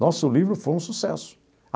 Nossa o livro foi um sucesso.